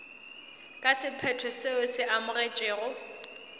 ka sephetho seo se amogetšwego